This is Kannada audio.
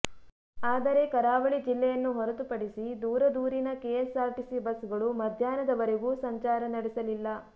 ಆದರೆ ಕರಾವಳಿ ಜಿಲ್ಲೆಯನ್ನು ಹೊರತು ಪಡಿಸಿ ದೂರದೂರಿನ ಕೆಎಸ್ಸಾರ್ಟಿಸಿ ಬಸ್ಗಳು ಮಧ್ಯಾಹ್ನದವರೆಗೂ ಸಂಚಾರ ನಡೆಸಲಿಲ್ಲ